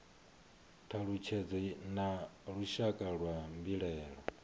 thalutshedzo na lushaka lwa mbilaelo